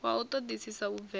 wa u ṱoḓisisa u bvela